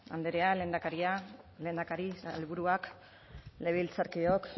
andrea lehendakaria lehendakari sailburuak legebiltzarkideok